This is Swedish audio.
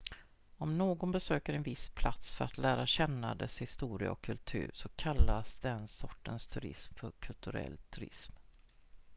om någon besöker en viss plats för att lära känna dess historia och kultur så kallas den sortens turism för kulturell turism